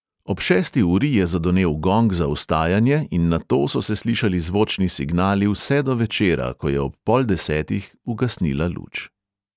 Ob šesti uri je zadonel gong za vstajanje in nato so se slišali zvočni signali vse do večera, ko je ob pol desetih ugasnila luč.